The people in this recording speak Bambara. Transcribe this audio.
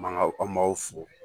Mankaw an b'aw fo.